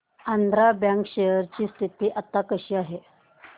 Andhra bank share ची स्थिती आता कशी आहे